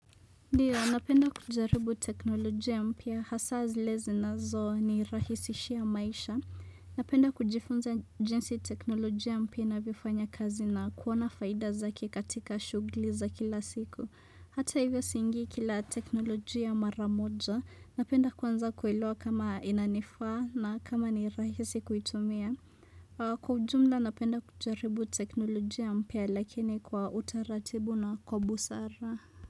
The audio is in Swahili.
Ndiyo, napenda kujaribu teknolojia mpya, hasa zile zinazonirahisishia maisha. Napenda kujifunza jinsi teknolojia mpya inavyofanya kazi na kuona faida zake katika shuguli za kila siku. Hata hivyo siingii kila teknolojia maramoja, napenda kuanza kuelewa kama inanifaa na kama ni rahisi kuitumia. Kwa ujumla, napenda kujaribu teknolojia mpya lakini kwa utaratibu na kwa busara.